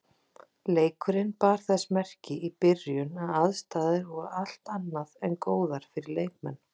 Leikurinn bar þess merki í byrjun að aðstæður voru allt annað en góðar fyrir leikmenn.